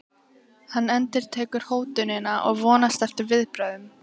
Hann endurtekur hótunina og vonast eftir viðbrögðum.